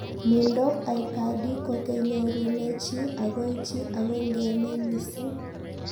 Mindoop aikadi ko kenyorunee chii agoi chii ako ngemee misiing